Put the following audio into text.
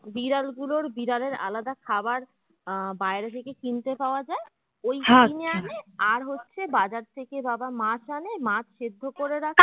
বিড়াল গুলোর বিড়ালের আলাদা খাবার আহ বাইরে থেকে কিনতে পাওয়া যায় ওই কিনে আনে আর হচ্ছে বাজার থেকে বাবা মাছ আনে মাছ সেদ্ধ করে রাখে